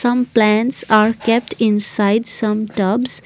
some plants are kept inside some tubs.